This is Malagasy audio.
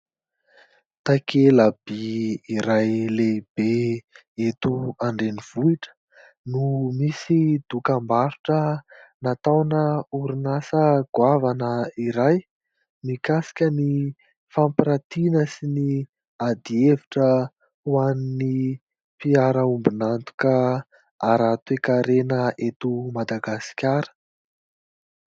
Takelaby iray lehibe eto andrenivohitra, no misy dokam-barotra nataona orinasa goavana iray mikasika ny fampiratiana sy ny ady hevitra ho an'ny mpiaramiombonantoka ara-toekarena eto Madagasikara.